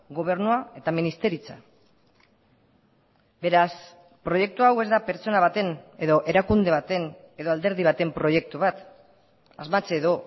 gobernua eta ministeritza beraz proiektu hau ez da pertsona baten edo erakunde baten edo alderdi baten proiektu bat asmatze edo